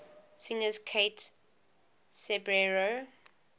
singers kate ceberano